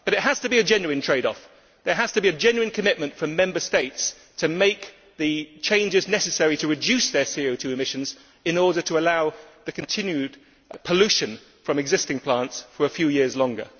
However, it has to be a genuine trade off there has to be a genuine commitment from Member States to make the changes necessary to reduce their CO 2 emissions in order to allow the continued pollution from existing plants for a few years longer.